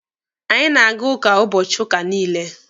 Anyị na-aga ụka ụbọchị ụka niile.